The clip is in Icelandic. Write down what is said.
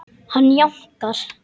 Hann jánkar.